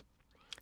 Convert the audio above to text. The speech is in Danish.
DR2